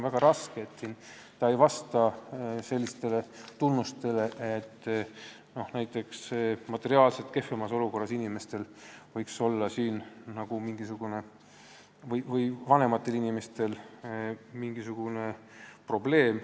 Sellel probleemil ei ole selliseid tunnuseid, et seda saaks seostada näiteks materiaalselt kehvemas olukorras inimestega või vanemate inimestega.